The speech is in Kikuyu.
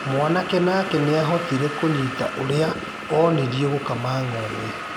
Mwanake nake nĩahotire kũnyita ũrĩa onirio gũkama ng'ombe.